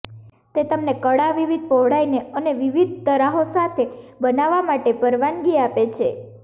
તે તમને કડા વિવિધ પહોળાઈને અને વિવિધ તરાહો સાથે બનાવવા માટે પરવાનગી આપે છે